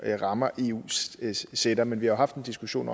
rammer eu sætter men vi har haft en diskussion